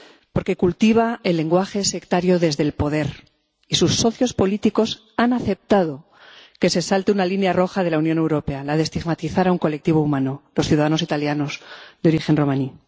Porque cultiva el lenguaje sectario desde el poder y sus socios políticos han aceptado que se salte una línea roja de la Unión Europea, la de estigmatizar a un colectivo humano los ciudadanos italianos de origen romaní.